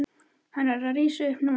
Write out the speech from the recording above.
Hann er að rísa upp núna.